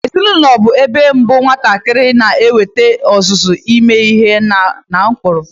Ezinaụlọ bụ ebe mbụ nwatakịrị na-enwete ọzụzụ ime ihe n'ụkpụrụ.